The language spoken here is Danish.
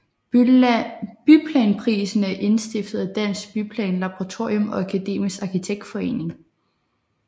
Byplanprisen er indstiftet af Dansk Byplanlaboratorium og Akademisk Arkitektforening